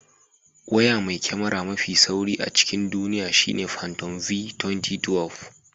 Waya mai kyamara mafi sauri a cikin duniya shine fantom v2012.